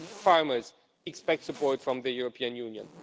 Farmers expect support from the European Union.